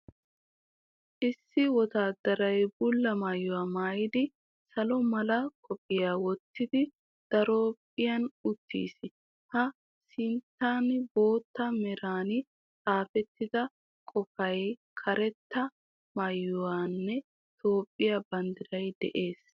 Issi wottaddaray bulla maayuwa maayidi, salo mala qophiya wottidi daraphphan uttiis. A sinttan bootta meran xaafettida qofay, karetta maykeenne Toophiya banddiray de'ees.